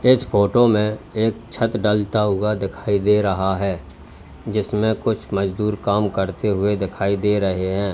इस फोटो में एक छत डलता हुआ दिखाई दे रहा है जिसमें कुछ मजदूर काम करते हुए दिखाई दे रहे हैं।